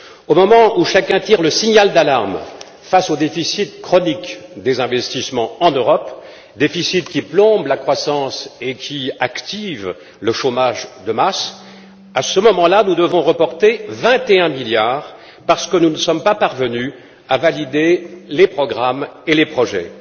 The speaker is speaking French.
Au moment même où chacun tire le signal d'alarme face au déficit chronique des investissements en Europe, déficit qui plombe la croissance et active le chômage de masse, nous devons reporter 21 milliards d'euros parce que nous ne sommes pas parvenus à valider les programmes et les projets.